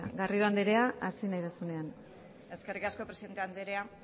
garrido andrea hasi nahi duzuenean eskerrik asko presidente andrea